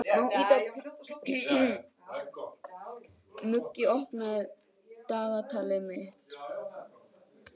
Muggi, opnaðu dagatalið mitt.